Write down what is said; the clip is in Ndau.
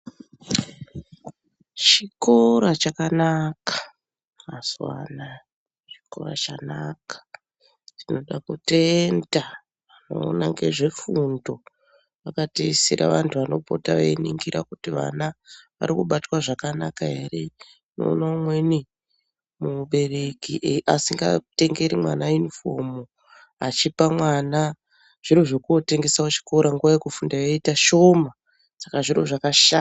Chikora chakanaka mazuva anaya chikora chanaka. Tinoda kutenda anoona ngezvefundo vakatiisira vantu vanopota veiningira kuti vana arikubatwa zvakanaka here. Unoona umweni mubereki asingatengeri mwana yunifomu, achipa mwana zviro zvekuotengesa kuchikoro, nguva yekufunda yoita shoma. Saka zviro zvakasha...